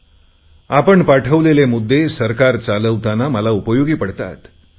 आपण पाठवलेले सुचवलेले मुद्दे सरकार चालवतांना मला उपयोगी पडतात